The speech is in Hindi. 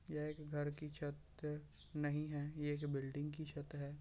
यह एक घर की छत नहीं है यह एक बिल्डिंग की छत है।